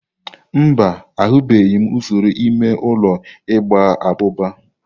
Mba, ahụbeghị m usoro ime ụlọ igba abụba.